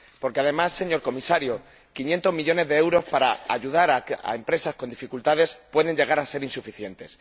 Porque, además, señor Comisario, 500 millones de euros para ayudar a empresas con dificultades pueden llegar a ser insuficientes.